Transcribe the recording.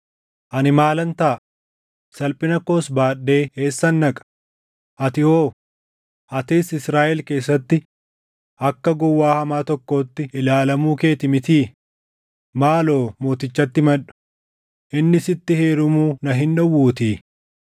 Ani maalan taʼa? Salphina koos baadhee eessan dhaqa? Ati hoo? Atis Israaʼel keessatti akka gowwaa hamaa tokkootti ilaalamuu kee ti mitii? Maaloo mootichatti himadhu; inni sitti heerumuu na hin dhowwuutii.”